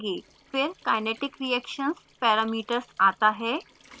then comes kinetic reactions parameters फिर kinetic reactions parameters आता है